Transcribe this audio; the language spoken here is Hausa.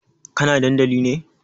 Kana dandali ne?